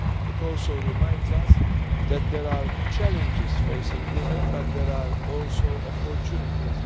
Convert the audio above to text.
It also reminds us that there are challenges facing women, but there are also opportunities.